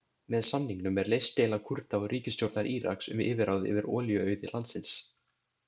Með samningnum er leyst deila Kúrda og ríkisstjórnar Íraks um yfirráð yfir olíuauði landsins.